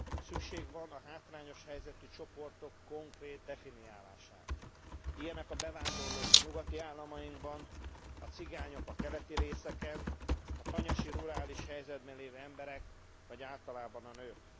Szükség van a hátrányos helyzetű csoportok konkrét definiálására, ilyenek a bevándorlók a nyugati államokban, a cigányok a keleti részeken, a tanyasi, rurális helyzetben lévő emberek, vagy általában a nők.